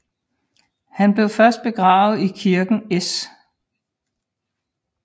Han blev først begravet i kirken S